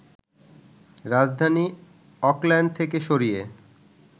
রাজধানী অকল্যান্ড থেকে সরিয়ে